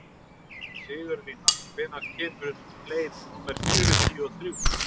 Sigurlína, hvenær kemur leið númer fjörutíu og þrjú?